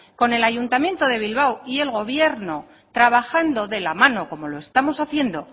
con el ayuntamiento de bilbao y el gobierno trabajando de la mano como lo estamos haciendo